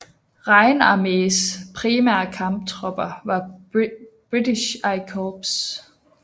Rheinarméens primære kamptropper var British I Corps